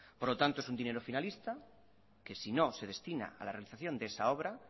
por lo tanto es un dinero finalista que si no se destina a la realización de esa obra